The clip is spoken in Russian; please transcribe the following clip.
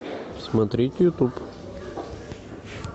смотреть ютуб